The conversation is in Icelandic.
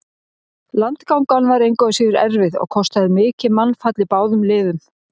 Landgangan var engu að síður erfið og kostaði mikið mannfall í báðum liðum.